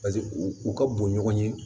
u ka bon ɲɔgɔn ye